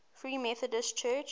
free methodist church